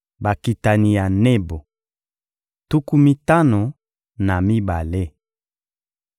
Bakitani ya Nebo: tuku mitano na mibale.